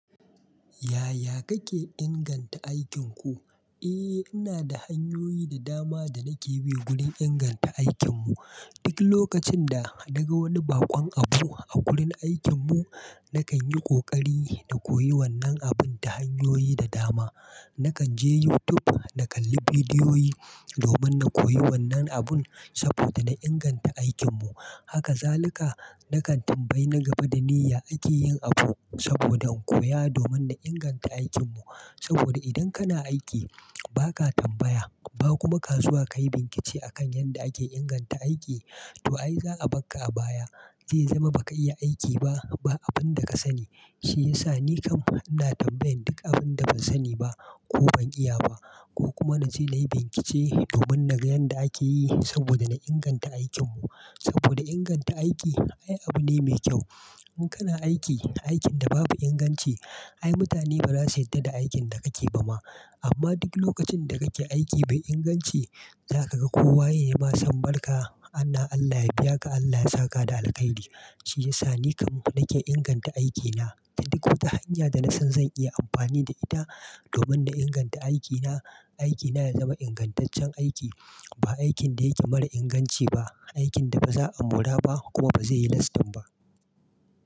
Yaya kake inganta aikinku? Eh, ina da hanyoyi da dama da nake bi gurin inganta aikin mu. Duk lokacin da daga wani baƙon abu a gurin aikin mu, nakan yi ƙoƙari na koyi wannan abun ta hanyoyi da dama. Nakan je YouTube na kalli bidiyoyi domin na koyi wannan abun saboda na inganta aikin mu. Haka zalika nakan tambayi na gaba da ni ya ake yin abu saboda in koya domin na inganta aikin mu. Saboda idan kana aiki ba ka tambaya, ba kuma kazuwa ka yi bincike akan yadda ake inganta aiki, to ai za a barka a baya. Zai zama ba ka iya aiki ba, ba abun da ka sani. Shi ya sa ni kam ina tambayan duk abin da ban sani ba ko ban iya ba, ko kuma na je na yi bincike domin na ga yadda ake yi saboda na inganta aikin mu. Saboda inganta aiki ai abu ne mai kyau. In kana aiki, aikin da babu inganci, ai mutane ba za su yarda da aikin da kake ba ma. Amma duk lokacin da kake aiki mai inganci, za ka ga kowa yayima san barka, "Ana Allah ya biya ka, Allah ya saka da alkhairi." Shi ya sa ni kam nake inganta aikina ta duk wata hanya da nasan zan iya amfani da ita domin na inganta aikina. Aikina ya zama ingantaccen aiki, ba aikin da yake mara inganci ba, aikin da ba za a mora ba kuma ba zai yi lastin ba.